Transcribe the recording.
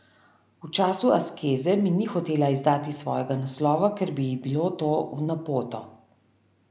V času askeze mi ni hotela izdati svojega naslova, ker bi ji bilo to v napoto.